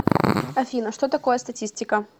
афина что такое статистика